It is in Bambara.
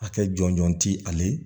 Hakɛ jɔnjɔn ti ale